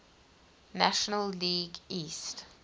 national league east